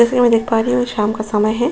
जैसे मैं देख पा रही हूं शाम का समय है।